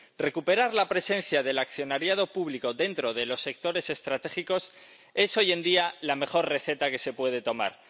Recuperar la presencia del accionariado público dentro de los sectores estratégicos es hoy en día la mejor receta que se puede tomar.